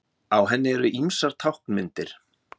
Á henni eru ýmsar táknmyndir.